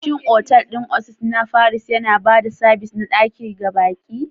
Shin otal ɗin Oasis na Paris yana ba da sabis na ɗaki ga baƙi?